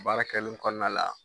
Baara kɛlen kɔnɔna la.